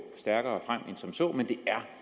stærkere frem end som så men det er